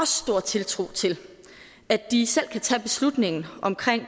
stor tiltro til at de selv kan tage beslutningen om